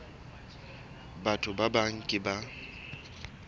batho ba bang ke ba